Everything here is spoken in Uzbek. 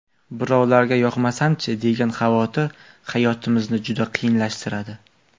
Birovlarga yoqmasam-chi, degan xavotir hayotimizni juda qiyinlashtiradi.